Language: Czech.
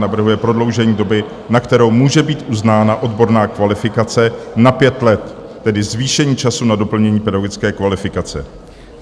Navrhuje prodloužení doby, na kterou může být uznána odborná kvalifikace, na pět let, tedy zvýšení času na doplnění pedagogické kvalifikace.